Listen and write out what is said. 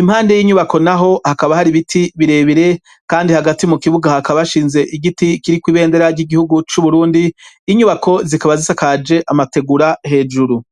impande y'inyubako n'aho hakaba hari biti birebire kandi hagati mu kibuga hakaba hashinze igiti kiri ku ibendera ry'igihugu c'uburundi inyubako zikaba zisakaje amategura hejuru.